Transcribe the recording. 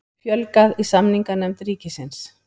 Fjölgað í samninganefnd ríkisins